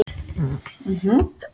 Dóttir þeirra er Edda Sif.